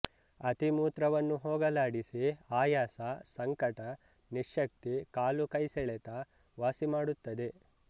ಅತಿ ಮೂತ್ರವನ್ನು ಹೋಗಲಾಡಿಸಿ ಆಯಾಸ ಸಂಕಟ ನಿಶ್ಯಕ್ತಿ ಕಾಲುಕೈ ಸೆಳೆತ ವಾಸಿಮಾಡುತ್ತದೆ